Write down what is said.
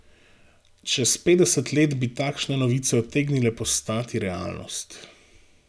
Čez petdeset let bi takšne novice utegnile postati realnost.